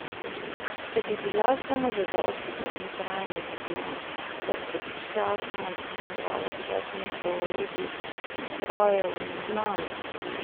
Da bi bila samozadostna in trajnostna ter da bi sčasoma dopolnjevala svojo ponudbo orodij, strojev in znanj.